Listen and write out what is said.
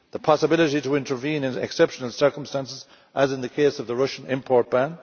the possibility to intervene in exceptional circumstances, as in the case of the Russian import ban